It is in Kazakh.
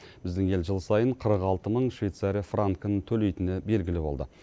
біздің ел жыл сайын қырық алты мың швейцария франкін төлейтіні белгілі болды